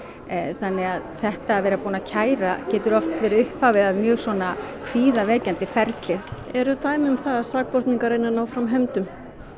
þannig að þetta að vera búinn að kæra getur verið upphafi að mjög ferli eru dæmi um það að sakborningar reyni að ná fram hefndum